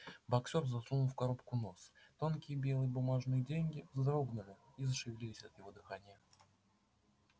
боксёр засунул в коробку нос тонкие белые бумажные деньги вздрогнули и зашевелились от его дыхания